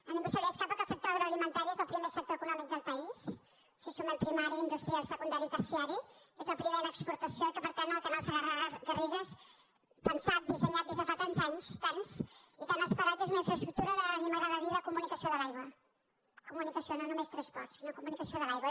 a ningú se li escapa que el sector agroalimentari és el primer sector econòmic del país si sumem primari industrial secundari i terciari és el primer en exportació i que per tant el canal segarra garrigues pensat dissenyat des de fa tants anys tants i tant esperat és una infraestructura a mi m’agrada dir ho de comunicació de l’aigua comunicació no només transport sinó de comunicació de l’aigua